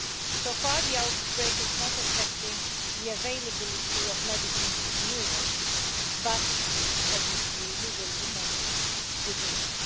So far, the outbreak is not affecting the availability of medicines in Europe, but obviously we will remain vigilant.